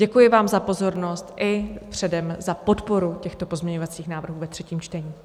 Děkuji vám za pozornost i předem za podporu těchto pozměňovacích návrhů ve třetím čtení.